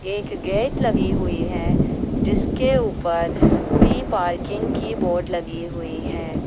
एक गेट लगी हुई है जिसके ऊपर पी पार्किंग की बोर्ड लगी हुई है।